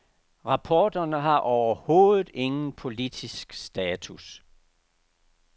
Rapporterne har overhovedet ingen politisk status.